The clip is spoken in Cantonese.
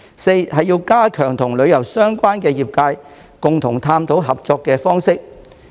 四是加強與旅遊相關業界共同探討合作方式。